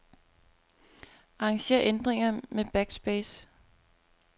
Arranger ændringer med backspace.